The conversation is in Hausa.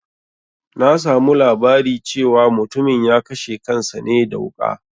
Na samu labari cewa mutumin ya kashe kansa ne da wuƙa